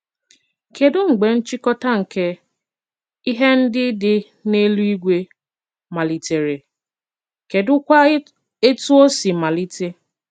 Kedụ mgbe nchịkọta nke “ ihe ndị dị n’eluigwe ” malitere ,Kedụkwa etù o si malite?